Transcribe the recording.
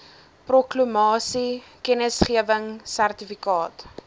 proklamasie kennisgewing sertifikaat